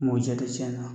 Mɔ ja tɛ tiɲɛ na